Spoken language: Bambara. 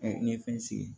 ɲɛfɛ